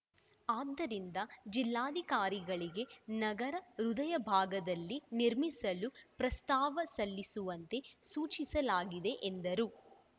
ಆದ್ದರಿಂದ ಜಿಲ್ಲಾಧಿಕಾರಿಗಳಿಗೆ ನಗರ ಹೃದಯಭಾಗದಲ್ಲಿ ನಿರ್ಮಿಸಲು ಪ್ರಸ್ತಾವ ಸಲ್ಲಿಸುವಂತೆ ಸೂಚಿಸಲಾಗಿದೆ ಎಂದರು